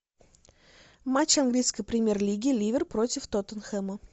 матч английской премьер лиги ливер против тоттенхэма